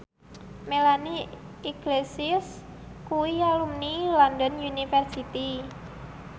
Melanie Iglesias kuwi alumni London University